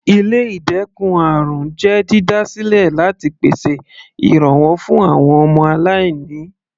Ilé ìdẹ́kun àrùn jẹ́ dídá sílẹ láti pèsè ìrànwọ́ fún àwọn aláìní.